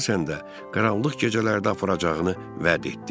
Əsasən də qaranlıq gecələrdə aparacağını vəd etdi.